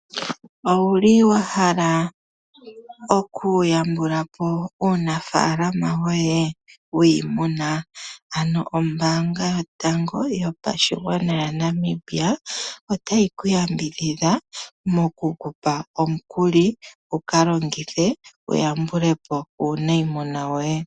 Owuli wahala okuyambula po uunafaalama woye wiimuna ,ano ombaanga yotango yopashigwana yaNamibia otayi ku yambidhidha moku kupa omukuli wuka longithe wuyambule po uunayimuna woye.